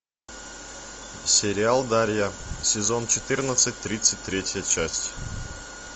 сериал дарья сезон четырнадцать тридцать третья часть